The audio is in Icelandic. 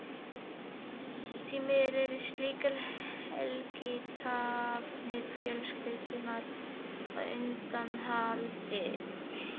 Því miður eru slíkar helgiathafnir fjölskyldunnar á undanhaldi.